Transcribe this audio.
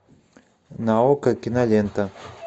на окко кинолента